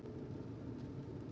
Þess vegna er hann með okkur.